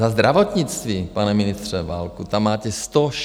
Za zdravotnictví, pane ministře Válku, tam máte 164 miliard.